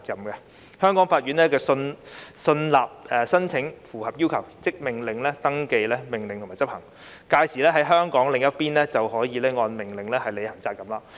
若香港法院信納有關申請符合要求，即會命令登記及執行有關命令，屆時在港的另一方就要按命令履行責任。